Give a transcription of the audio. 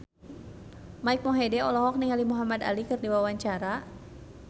Mike Mohede olohok ningali Muhamad Ali keur diwawancara